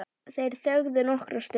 Þeir þögðu nokkra stund.